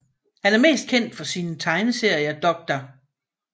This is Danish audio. Han er mest kendt for sine tegneserier Dr